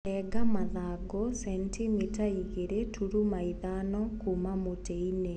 Renga mathangũ centimita igĩrĩ turuma thano nginya ithano kuuma mutĩĩnĩ.